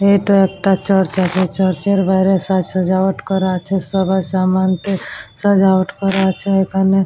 এটা একটা চার্চ চার্চের বাইরের সাজায়াট করা আছে সবার সামানকে সাজায়াট করা আছে এখানে।